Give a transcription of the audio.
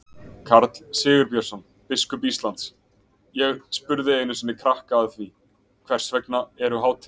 Karl Sigurbjörnsson, biskup Íslands: Ég spurði einu sinni krakka að því, hvers vegna eru hátíðir?